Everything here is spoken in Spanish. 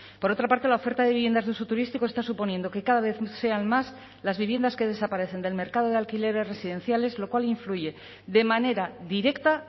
por otra parte la oferta de viviendas de uso turístico está suponiendo que cada vez sean más las viviendas que desaparecen del mercado de alquileres residenciales lo cual influye de manera directa